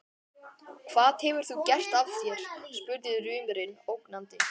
Hvað hefur þú gert af þér? spurði rumurinn ógnandi.